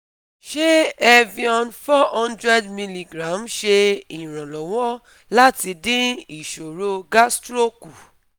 Ṣé evion four hundred milligram ṣe ìrànlọ́wọ́ láti dín ìṣòro gastro kù